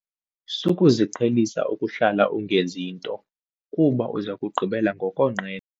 Sukuziqhelisa ukuhlala ungenzi nto kuba uza kugqibela ngokonqena.